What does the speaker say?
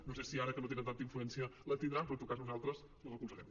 no sé si ara que no tenen tanta influència la tindran però en tot cas nosaltres la recolzarem